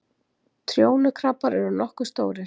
Trjónukrabbar eru nokkuð stórir.